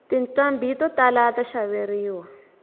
tinqhambi to tala ta xaveriwa